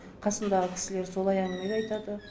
қасымдағы кісілер солай әңгіме де айтады